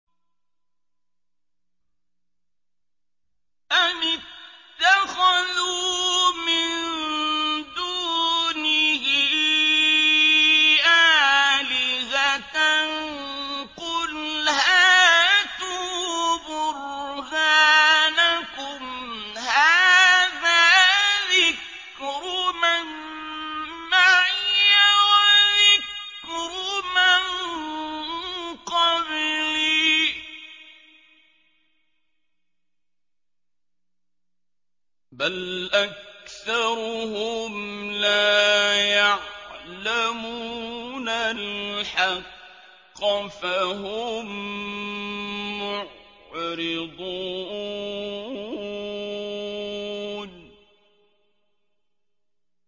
أَمِ اتَّخَذُوا مِن دُونِهِ آلِهَةً ۖ قُلْ هَاتُوا بُرْهَانَكُمْ ۖ هَٰذَا ذِكْرُ مَن مَّعِيَ وَذِكْرُ مَن قَبْلِي ۗ بَلْ أَكْثَرُهُمْ لَا يَعْلَمُونَ الْحَقَّ ۖ فَهُم مُّعْرِضُونَ